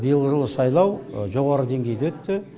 биылғы жылғы сайлау жоғары деңгейде өтті